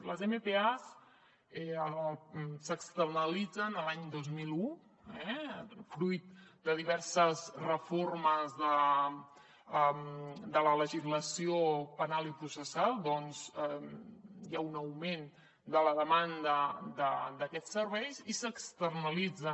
les mpa s’externalitzen l’any dos mil un eh fruit de diverses reformes de la legislació penal i processal doncs hi ha un augment de la demanda d’aquests serveis i s’externalitzen